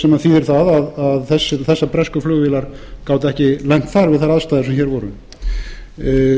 sem þýðir það að þessar bresku flugvélar gátu ekki lent þar við þessar aðstæður sem hér voru